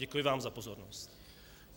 Děkuji vám za pozornost.